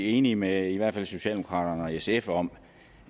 enige med socialdemokraterne og sf om